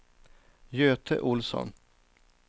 Göte Olsson